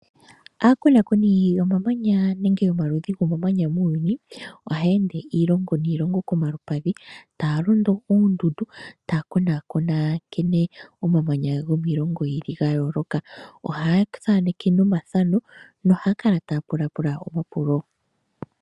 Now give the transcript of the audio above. Aakonakoni yomamanya nenge yomaludhi gomamanya muuyuni, ohaya ende iilongo niilongo komalupadhi , taya londo oondundu, taya konakona nkene omamanya gomiilongo gayooloka . Ohaya thaneke nomafano, ohaya taya pulapula omapulo.